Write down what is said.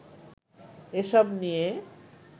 এসব নিয়ে